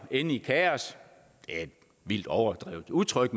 ende i kaos det er et vildt overdrevet udtryk